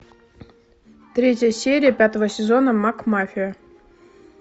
третья серия пятого сезона макмафия